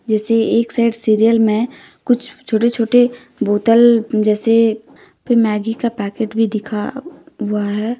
जैसे एक side cereal में कुछ छोटे छोटे बोतल जैसे भी मैगी का पैकेट भी दिखा हुआ है।